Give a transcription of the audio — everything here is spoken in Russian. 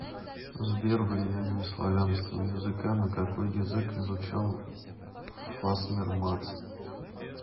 сбер влияние славянского языка на какой язык изучал фасмер макс